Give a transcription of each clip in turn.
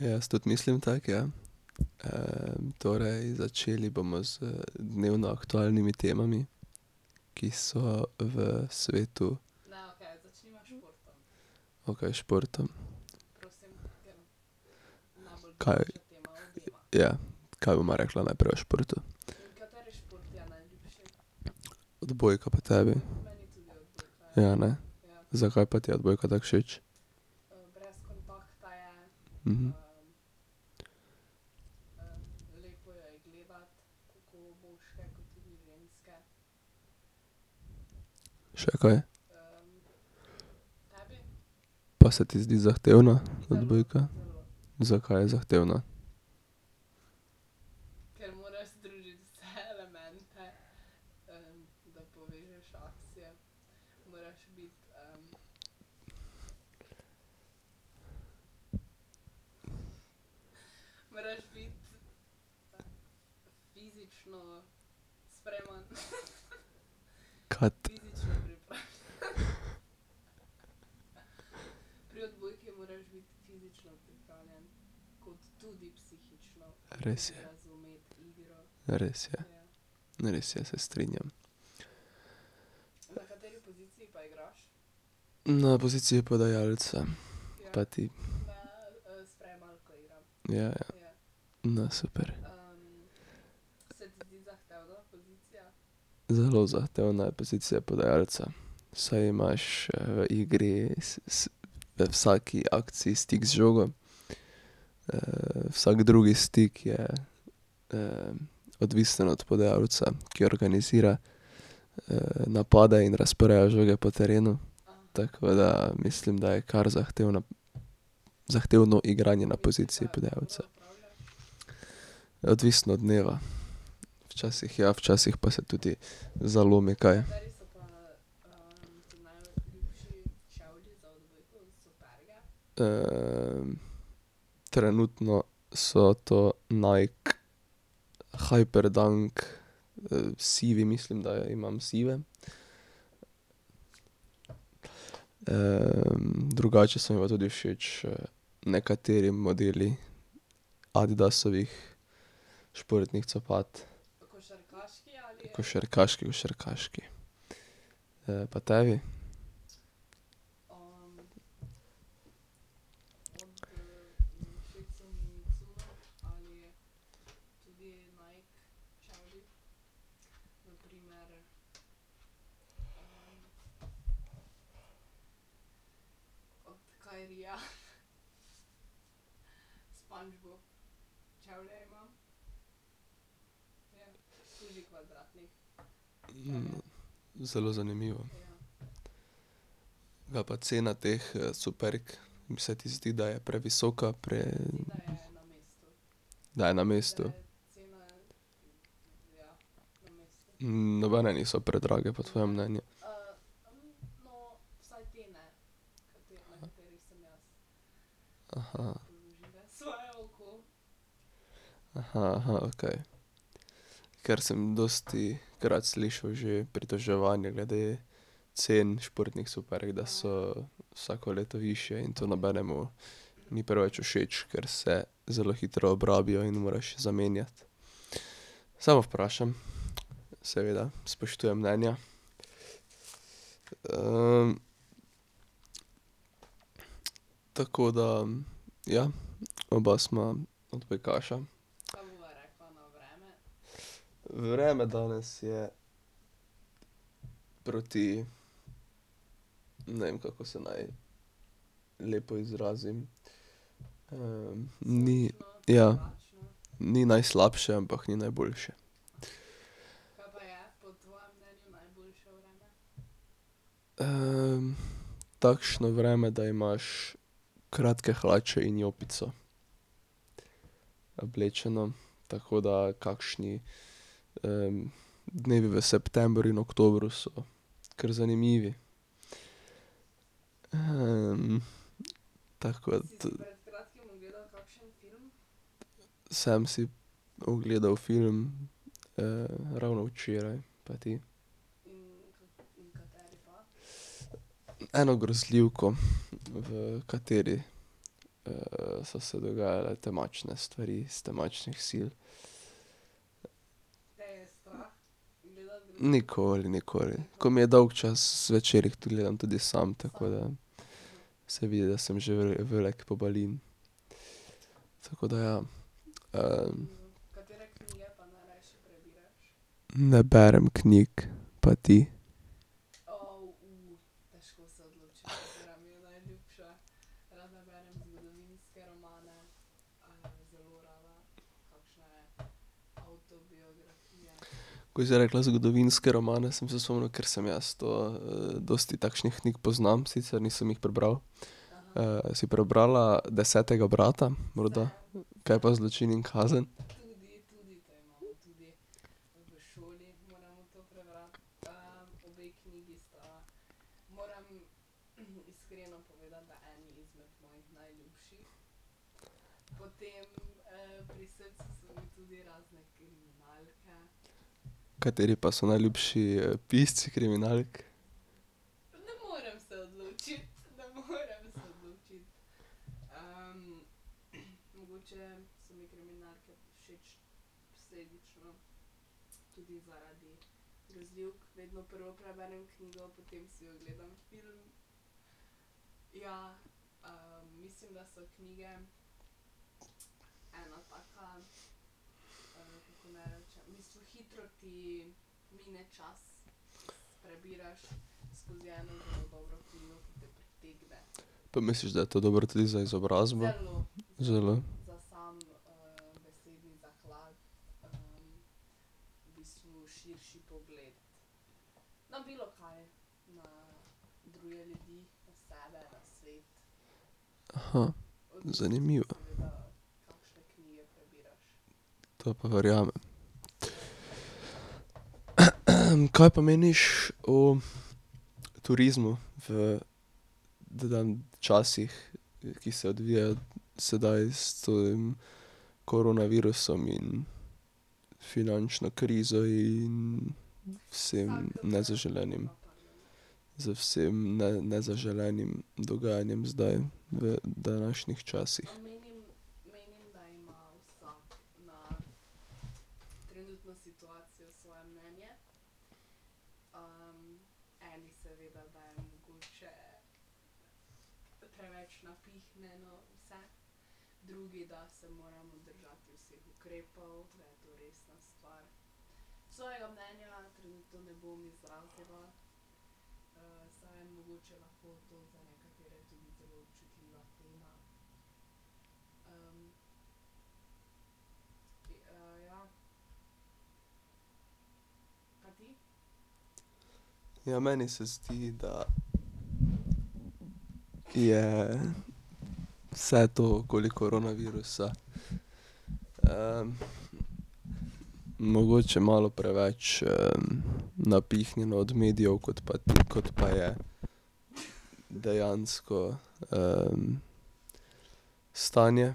Jaz tudi mislim tako, ja. torej, začeli bomo z dnevno aktualnimi temami, ki so v svetu ... Okej, športom. Kaj ... Ja. Kaj bova rekla najprej o športu? Odbojka, pa tebi? Ja, ne. Zakaj pa ti je odbojka tako všeč? Še kaj? Pa se ti zdi zahtevna, odbojka? Zakaj je zahtevna? Res je. Res je. Res je, se strinjam. Na poziciji podajalca. Pa ti? Ja, ja. No, super. Zelo zahtevna je pozicija podajalca, saj imaš v igri vsaki akciji stik z žogo. vsak drugi stik je odvisen od podajalca, ki organizira napada in razporeja žoge po terenu. Tako da mislim, da je kar zahtevna, zahtevno igranje na poziciji podajalca. Odvisno od dneva, včasih ja, včasih pa se tudi zalomi kaj. trenutno so to Nike, Hyperdunk, sivi, mislim, da imam sive. drugače so mi pa tudi všeč nekateri modeli Adidasovih športnih copat. Košarkaški, košarkaški. pa tebi? Zelo zanimivo. Kaj pa cena teh superg, se ti zdi, da je previsoka, ...? Da je na mestu. nobene niso predrage po tvojem mnenju? okej. Ker sem dostikrat slišal že pritoževanja glede cen športnih superg, da so vsako leto višje in to nobenemu ni preveč všeč, ker se zelo hitro obrabijo in moraš zamenjati. Samo vprašam, seveda, spoštujem mnenja. Tako da, ja, oba sva odbojkaša. Vreme danes je proti ne vem, kako se naj lepo izrazim, ni ... Ja. Ni najslabše, ampak ni najboljše. takšno vreme, da imaš kratke hlače in jopico oblečeno, tako da kakšni dnevi v septembru in oktobru so kar zanimivi. tako tu ... Sem si ogledal film ravno včeraj, pa ti? Eno grozljivko, v kateri so se dogajale temačne stvari s temačnih sil. Nikoli, nikoli. Ko mi je dolgčas zvečer, jih gledam tudi sam, tako da. Se vidi, da sem že v@() velik pobalin. Tako da ja. Ne berem knjig. Pa ti? Ko si rekla zgodovinske romane, sem se spomnil, ker sem jaz to, dosti takšnih knjig poznam, sicer nisem jih prebral. si prebrala Desetega brata morda? Kaj pa Zločin in kazen? Kateri pa so najljubši pisci kriminalk? Pa misliš, da je to dobro tudi za izobrazbo? Zelo? Zanimivo. To pa verjamem. Kaj pa meniš o turizmu v časih, ki se odvijajo sedaj s tem koronavirusom in finančno krizo in vsem nezaželenim, z vsem nezaželenim dogajanjem zdaj v današnjih časih? Ja meni se zdi, da je vse to okoli koronavirusa mogoče malo preveč napihnjeno od medijev, kot pa kot pa je dejansko stanje,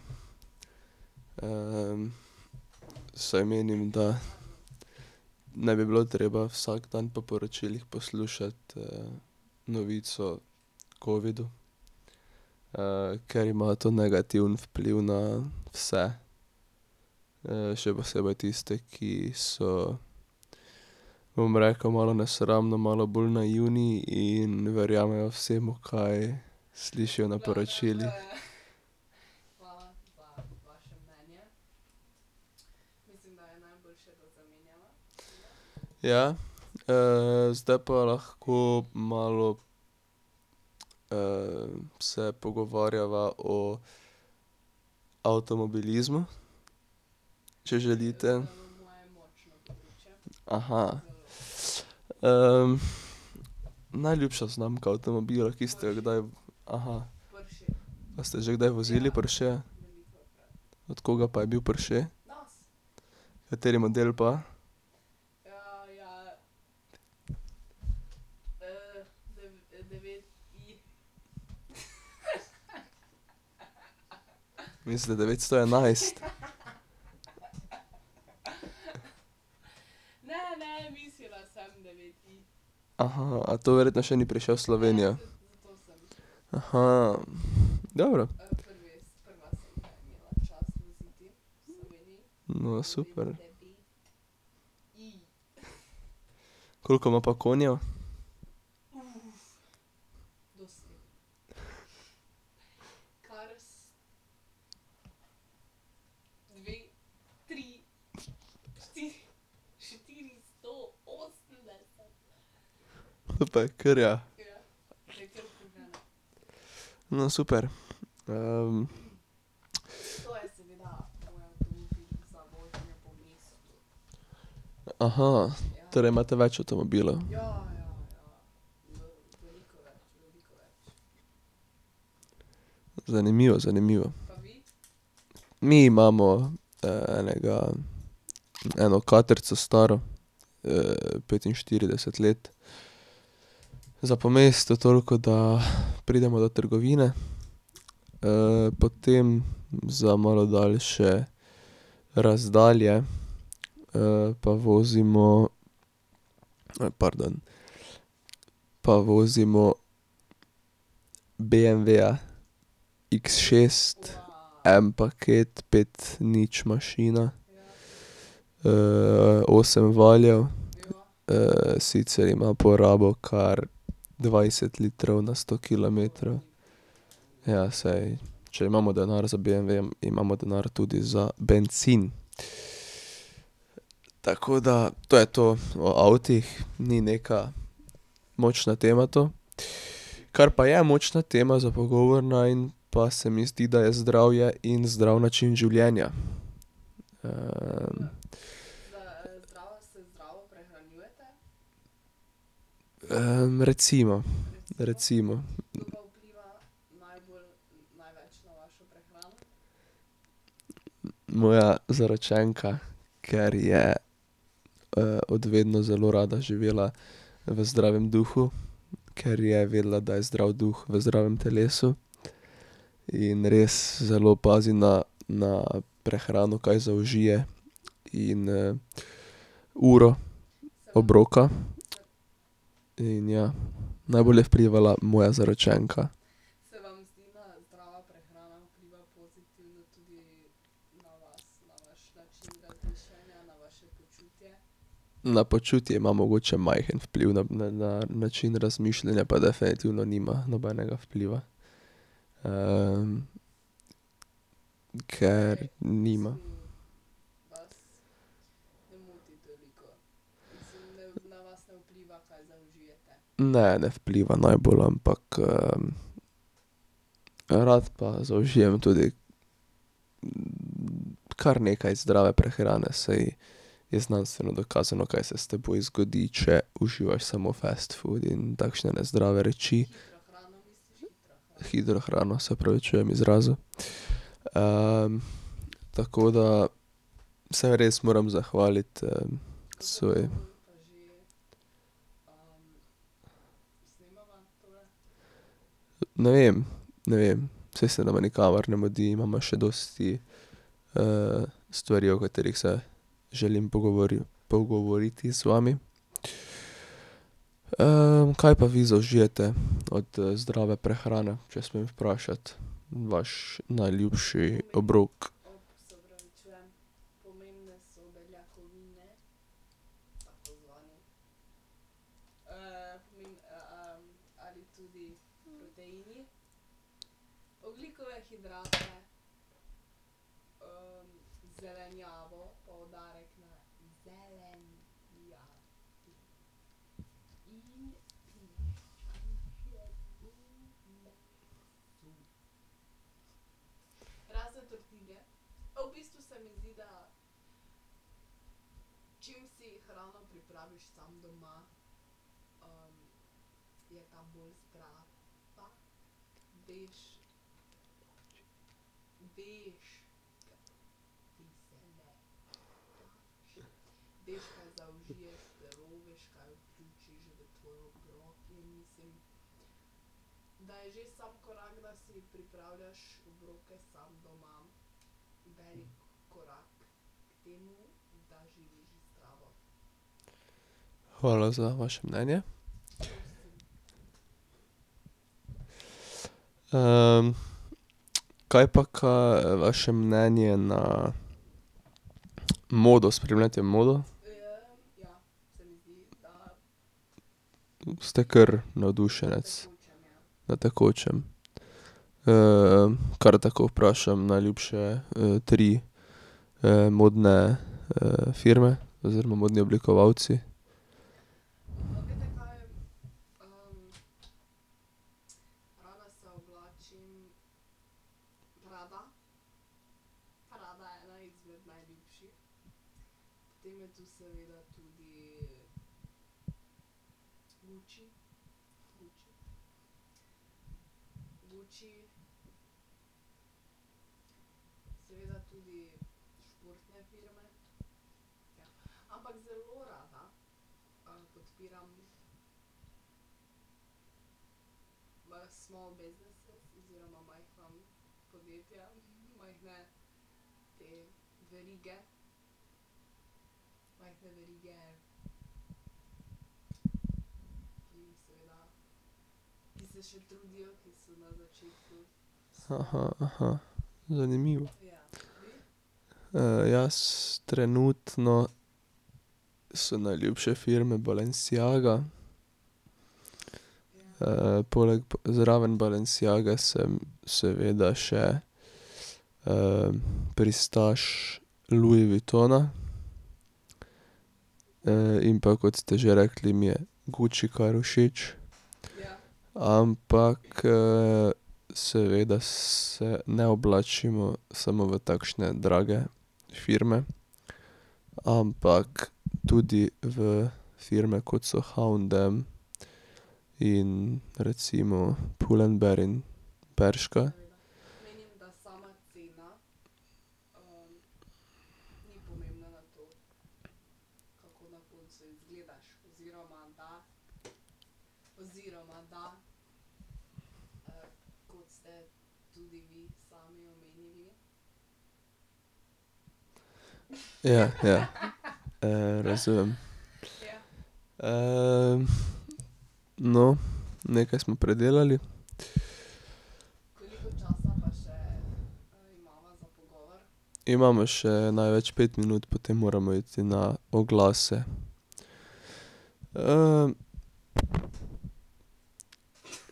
saj menim, da ne bi bilo treba vsak dan po poročilih poslušati novic o covidu, ker ima to negativen vpliv na vse. še posebej tiste, ki so, bom rekel malo nesramno, malo bolj naivni in verjamejo vsemu, kaj slišijo na poročilih. Ja. zdaj pa lahko malo se pogovarjava o avtomobilizmu. Če želite. najljubša znamka avtomobila, ki ste jo kdaj, Pa ste že kdaj vozili Porscheja? Od koga pa je bil Porsche? Kateri model pa? Misli devetsto enajst? a to verjetno še ni prišel v Slovenijo? dobro. No, super. Koliko ima pa konjev? To pa je kar, ja. No, super. Torej imate več avtomobilov? Zanimivo, zanimivo. Mi imamo enega, eno katrco staro, petinštirideset let. Za po mestu toliko, da pridemo do trgovine, potem za malo dalše razdalje pa vozimo pardon, pa vozimo beemveja iks šest, en paket, pet nič mašina. osem valjev, sicer ima porabo kar dvajset litrov na sto kilometrov. Ja, saj, če imamo denar za beemve, imamo denar tudi za bencin. Tako da to je to o avtih, ni neka močna tema to. Kar pa je močna tema za pogovor najin, pa se mi zdi, da je zdravje in zdrav način življenja. recimo, recimo. Moja zaročenka, ker je od vedno zelo rada živela v zdravem duhu, ker je vedela, da je zdrav duh v zdravem telesu. In res zelo pazi na na prehrano, kaj zaužije in uro obroka. In ja, najbolj je vplivala moja zaročenka. Na počutje ima mogoče majhen vpliv, na način razmišljanja pa definitivno nima nobenega vpliva. Ker nima. Ne, ne vpliva najbolj, ampak rad pa zaužijem tudi kar nekaj zdrave prehrane, saj je znanstveno dokazano, kaj se s teboj zgodi, če uživaš samo fast food in takšne nezdrave reči. Hitra hrana, se opravičujem izrazu. tako da se res moram zahvaliti svoji ... Ne vem, ne vem, saj se nama nikamor ne mudi, imava še dosti stvari, o katerih se želim pogovoriti z vami. Kaj pa vi zaužijete od zdrave prehrane, če smem vprašati, vaš najljubši obrok? Hvala za vaše mnenje. kaj pa kaj vaše mnenje na modo, spremljate modo? Ste kar navdušenec? Na tekočem. kar tako vprašam, najljubše tri modne firme, oziroma modni oblikovalci? zanimivo. jaz trenutno so najljubše firme Balenciaga, poleg, zraven Balenciage sem seveda še pristaš Louis Vuittona. In pa kot ste že rekli, mi je Gucci kar všeč. Ampak seveda se ne oblačimo samo v takšne drage firme, ampak tudi v firme, kot so H&M in recimo Pull&Bear in Bershka. Ja, ja. Razumem. No, nekaj smo predelali. Imamo še največ pet minut, potem moramo iti na oglase.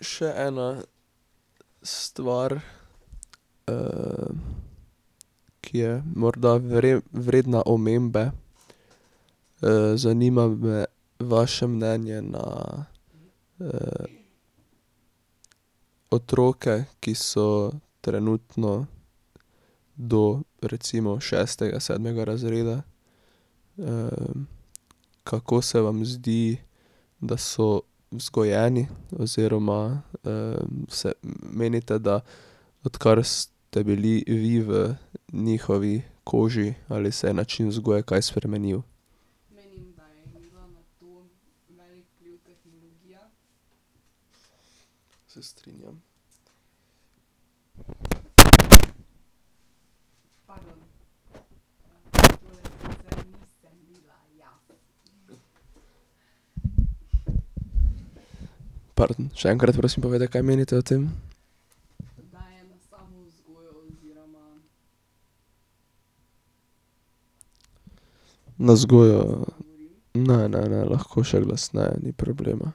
Še ena stvar ki je morda vredna omembe. Zanima me vaše mnenje na otroke, ki so trenutno do recimo šestega, sedmega razreda. kako se vam zdi, da so vzgojeni oziroma se menite, da odkar ste bili vi v njihovi koži, ali se je način vzgoje kaj spremenil? Se strinjam. Pardon, še enkrat prosim povejte, kaj menite o tem. Na vzgojo. Ne, ne, ne, lahko še glasneje, ni problema.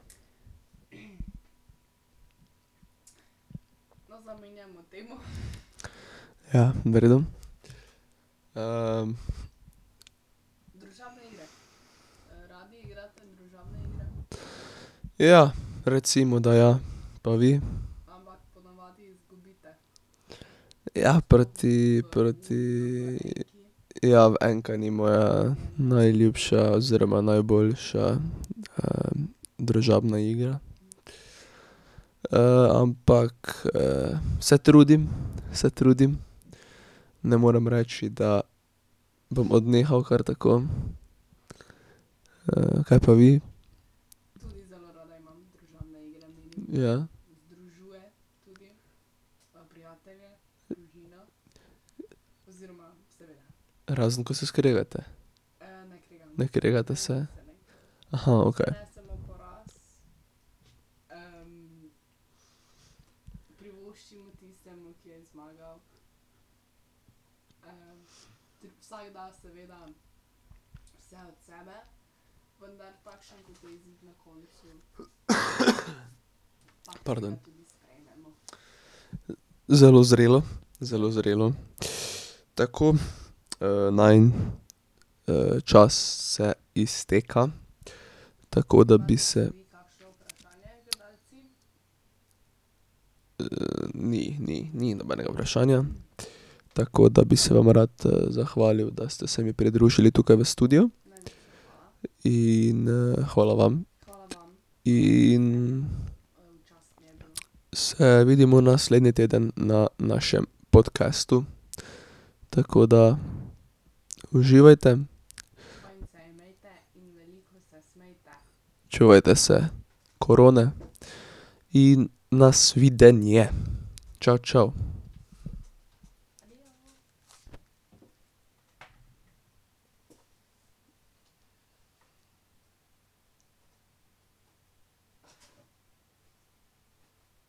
Ja, v redu. Ja, recimo, da ja, pa vi? Ja, proti, proti, ja enka ni moja najljubša oziroma najboljša družabna igra. ampak se trudim, se trudim, ne morem reči, da bom odnehal kar tako. kaj pa vi? Ja? Razen ko se skregate. Ne kregate se? Aha, okej. Pardon. Zelo zrelo, zelo zrelo . Tako, najin čas se izteka, tako da bi se ... ni, ni, ni nobenega vprašanja, tako da bi se vam rad zahvalil, da ste se mi pridružili tukaj v studiu. In hvala vam. In ... Se vidimo naslednji teden na našem podcastu, tako da uživajte. Čuvajte se korone in nasvidenje, čao čao.